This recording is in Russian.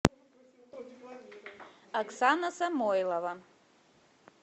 оксана самойлова